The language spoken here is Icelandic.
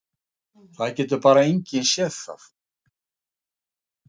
Það getur bara enginn séð það.